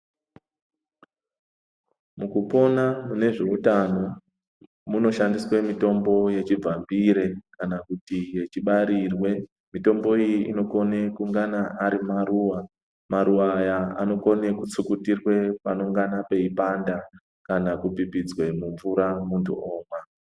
Mukukena nezveutano munoshandiswe mitombo yechigambire kana kuti yechibarirwe . Mitombo iyi inokone kungana ari maruwa , maruwa aya anokone kutsukutirwe panonge peidada kana kupipitswe mumvura mundu omwa .